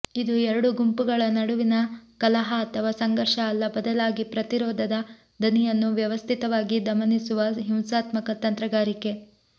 ಇದು ಎರಡು ಗುಂಪುಗಳ ನಡುವಿನ ಕಲಹ ಅಥವಾ ಸಂಘರ್ಷ ಅಲ್ಲ ಬದಲಾಗಿ ಪ್ರತಿರೋಧದ ದನಿಯನ್ನು ವ್ಯವಸ್ಥಿತವಾಗಿ ದಮನಿಸುವ ಹಿಂಸಾತ್ಮಕ ತಂತ್ರಗಾರಿಕೆ